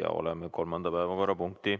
Me oleme kolmanda päevakorrapunkti